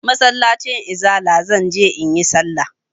Masallacin izala zan je in yi sallah.